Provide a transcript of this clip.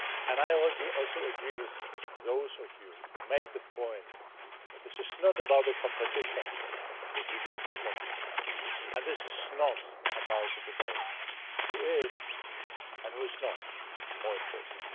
I also agree with those of you who made the point that this is not about the competition between those two countries, nor is it about the debate on who is or who is not more important.